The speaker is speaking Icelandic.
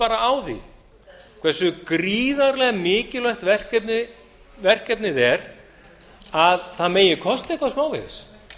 bara á því hversu gríðarlega mikilvægt verkefnið er að það megi kosta eitthvað smávegis